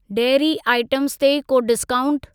Dairy items ते को discount?